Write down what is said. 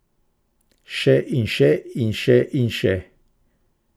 Še in še in še in še.